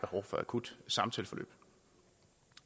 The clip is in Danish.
akut samtaleforløb